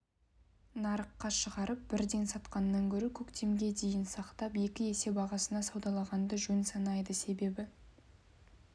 нарыққа шығарып бірден сатқаннан гөрі көктемге дейін сақтап екі есе бағасына саудалағанды жөн санайды себебі